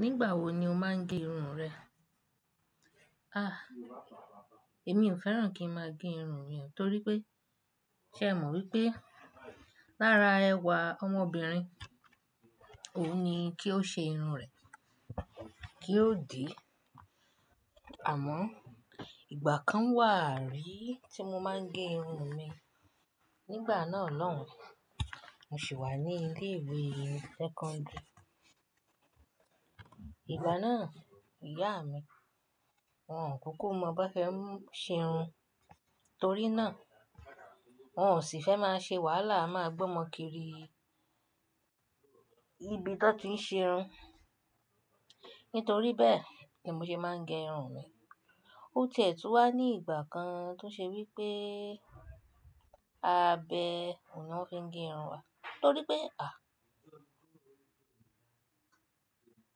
Nígbà wo ni o máa ń gé irun rẹ? Ah, èmi ò fẹ́ràn kí ń máa gé irun mi, torí pé, ṣé mọ wípé lára ẹwà ọmọbìnrin, òun ni kí ó ṣe irun rẹ̀ kí ó di. Àmọ́, ìgbà kan wà rí tí mo máa ń gé irun mi. Nígbà náà lọ́hùn, mo sì wà ní ilé ìwé sẹ́kọ́ńdírì. Ìgbà náà, ìyá mi, wọn kúkú mọ bí wọ́n ṣe ń ṣe irun, torí náà wọn ò sì fẹ́ máa ṣe wàhálà, máa gbó ọmọ kiri ibi tí wọ́n ti ń ṣe irun. Nítorí bẹ́ẹ̀ ni mo ṣe máa ń gé irun mi. Ó ti ẹ̀ tun wá ní ìgbà kan tó ṣe wípé, abẹ òun ni wọ́n fi ń gé irun wa, torí pé, à,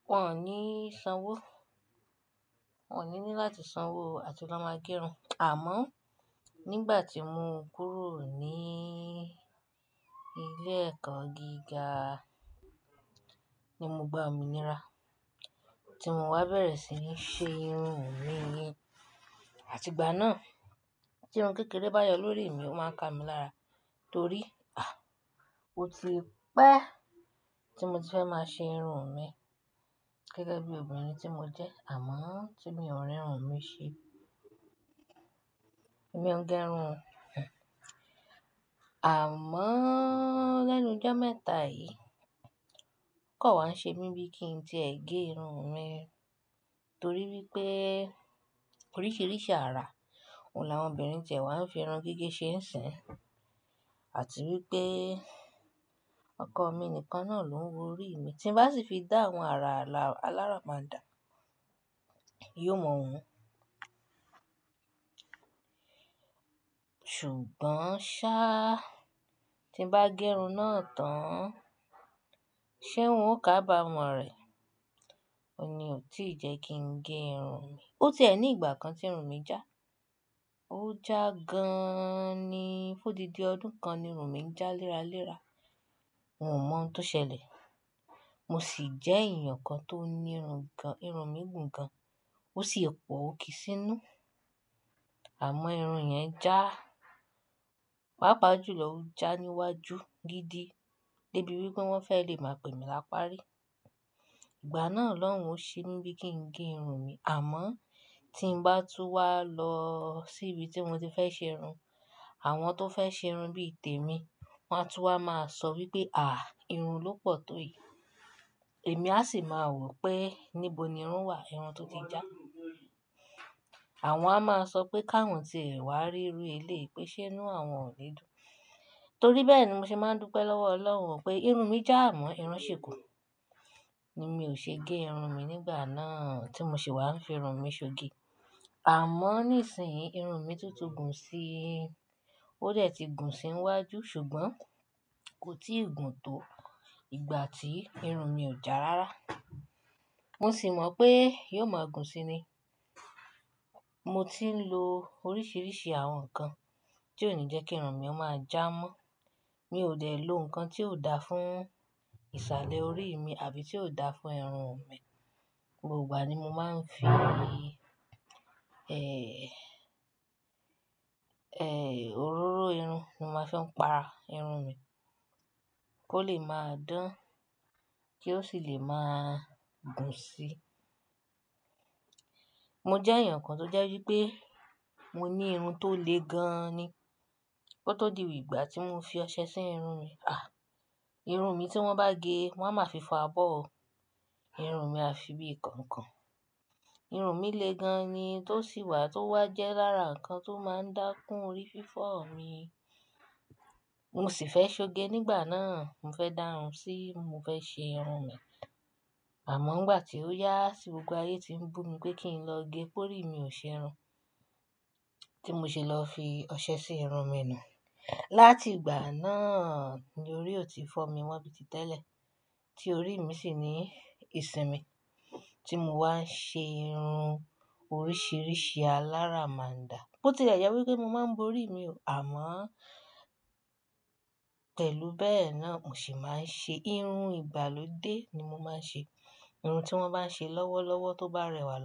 wọn ò ní sanwó. Wọn ò ní ní láti sanwó láti lọ máa gé irun. Àmọ́, nígbà tí mo kúrò ní ilé ẹ̀kọ́ gíga ni mo gba òmìnira tí mo wá bẹ̀rẹ̀ sí ní ṣe irun mi. Àti ìgbà náà tí irun kékeré bá yọ lórí mi, ó máa ń ka mi lára, torí, ah, ó ti pẹ́ tí mo ti fẹ́ máa ṣe irun mi gẹ́gẹ́ bí obìnrin tí mo jẹ́. Àmọ́ tí mi ò ri irun mi ṣe, èmi ò ń gé irun. Àmọ́ lẹ́nu jo mẹ́ta yìí okan wa ṣe mí bíi kí n ti ẹ́ gé irun mi, torí wípé oríṣiríṣi ara òun làwọn obìnrin ti e wá n fi irun gígé ṣe ń sìn. Àti wípé ọkọ mi nìkan náà ló ń wo orí mi, tí bá sì fi dá àwọn ara aláraba dà, yóò mọ̀ wu ṣùgbọ́n ṣá, tí n bá gé irun náà tán, ṣé òun ò kábàámọ̀ rẹ̀? Ó ní ò tí ì jẹ́ kí ń gé irun mi. Ó ti ẹ̀ ní ìgbà kan tí irun mi já, ó já gan-an ni. Fún odídi ọdún kan ni irun mi ń já léraléra. Ọun ò mọ ohun tó ṣẹlẹ̀. Mo sì jẹ́ èèyàn kan tó ní irun gan-- irun mi gùn gan. Ó sì pọ̀ ó kì í sí inú. Àmọ́ irun yẹn já. Pápá jù lọ ó já níwájú gidi débi wípé wọ́n fẹ́ lè máa pè mi láparí. Ìgbà náà lọ́hun ò ṣe mí bíi kí n gé irun mi. Àmọ́ tí ń bá tun wá lọ síbi tí moti fẹ́ ṣe irun, àwọn tó fẹ́ ṣe irun bí i tèmi, wọ́n á tun wá máa sọ wípé, "à, irun ló pọ̀ tó èyí." Èmi á sì máa wò pé níbo ni irun wà, irun tó ti já. Àwọn a máa sọ pé káwọn ti ẹ̀ wá rí rú elyi pèsẹ́ inú àwọn ònídún. Torí bẹ́ẹ̀ ni mo ṣe máa ń dúpẹ́ lọ́wọ́ Ọlọ́run pé irun mi já, àmọ́ irun ṣì kù ni mi ò ṣe gé irun mi nígbà náà tí mo sì wà ń fi irun mi ṣoge. Àmọ́ nísìnyí irun mi tun ti gùn si, ó dẹ̀ ti gùn sí n wájú, ṣùgbọ́n kò tí ì gùn tó ìgbà tí irun mi ò já rára. Mo sì mọ̀ pé yóò máa gùn sí ni. Mo ti ń lo oríṣiríṣi àwọn nǹkan tí ò ní jẹ́ kí irun mi ó máa já mọ́. Mi ò dẹ̀ lo nǹkan tí ò da fún ìsàlẹ̀ orí mi àbí tí ò da fún irun mi. Gbogbo ìgbà ni mo máa ń fi, ẹ́, ẹ́, òróró irun ni mo máa fi ń pa irun mi kó lè máa dán kí ó sì lè máa gùn sí. Mo jẹ́ èèyàn kan tó jẹ́ wípé mo ní irun tó le gan-an ni. Kó tọ́ di ìgbà tí mo fi ọṣẹ sí irun mi, à, irun mi tí wọ́n bá gé, wọ́n á máa fi fọ abọ́ o. Irun mi a fi bí ìkànkàn. Irun mi le gan-an ni tó sì wà tó wá jẹ́ lára nǹkan tó máa ń dákún orí fífọ́ mi. Mo sì fẹ́ ṣoge nígbà náà. Mo fẹ́ dáhùn sí, mo fẹ́ ṣe irun mi. Àmọ́ ìgbà tí ó yá tí gbogbo ayé tí ń bú mi pé kí n lọ gé, pe orí i mi ò ṣe irun, tí mo ṣe lọ fi ọṣẹ sí irun mi nu látìgbà náà ni orí ò ti fọ́ mi mọ́ bí i tí tẹ́lẹ̀, tí orí mi sì ní ìsinmi tí mo wá ń ṣe irun oríṣiríṣi alára máa dà. Bo ti le jẹ wípé mo máa ń bo orí mi o. Àmọ́ pẹ̀lú bẹ́ẹ̀ náà mo sì máa ń ṣe irun ìgbàlódé ni mo máa ń ṣe. Irun tí wọ́n bá ń ṣe lọ́wọ́lọ́wọ́ tó bá rẹwà lọ.